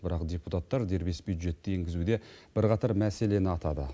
бірақ депутаттар дербес бюджетті енгізуде бірқатар мәселені атады